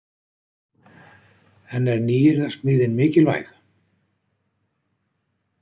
En er nýyrðasmíðin mikilvæg?